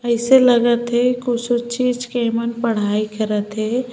अइसे लगत हे कुछु चीज के ए मन पढ़ाई करत हे।